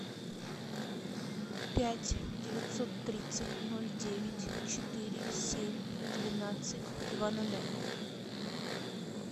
пять девятьсот тридцать ноль девять четыре семь двенадцать два нуля